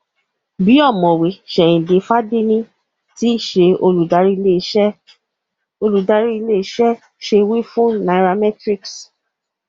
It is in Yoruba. bí ọmọwé seinde fadeni tí ṣe olùdarí ilé iṣẹ olùdarí ilé iṣẹ ṣe wí fún nairametrics